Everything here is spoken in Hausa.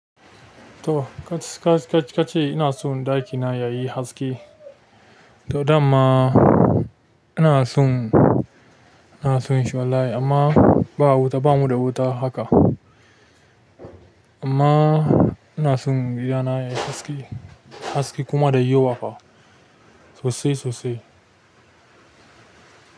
To kac-kac-kace ina son ɗakina yayi haske. To damma ina son, ina son shi wallahi amma ba wuta, bamu da wuta haka. Amma ina son gidana yayi haske, haske kuma da yawa fa sosai sosai.